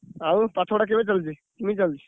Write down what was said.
ଆଉ ପାଠ ପଢା କେବେ ଚାଲିଛି, କେମିତି ଚାଲିଛି।